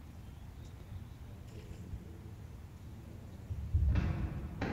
отец невесты ультра айч ди